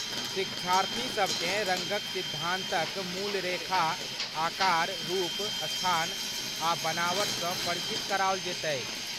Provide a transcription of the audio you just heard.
शिक्षार्थीसभ केँ रङ्गक सिद्धान्तक मूल, रेखा, आकर, रूप, स्थान आ बनावट सँ परिचित कराओल जयतैक ।